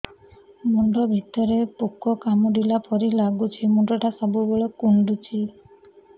ମୁଣ୍ଡ ଭିତରେ ପୁକ କାମୁଡ଼ିଲା ପରି ଲାଗୁଛି ମୁଣ୍ଡ ଟା ସବୁବେଳେ କୁଣ୍ଡୁଚି